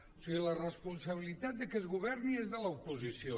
o sigui la responsabilitat de que es governi és de l’oposició